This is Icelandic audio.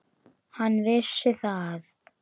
Hann vissi það.